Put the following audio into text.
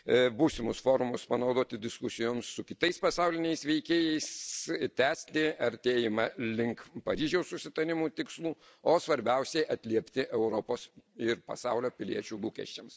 Būsimus forumus panaudoti diskusijomis su kitais pasauliniais veikėjais ir tęsti artėjimą link Paryžiaus susitarimo tikslų, o svarbiausia atliepti Europos ir pasaulio piliečių lūkesčius.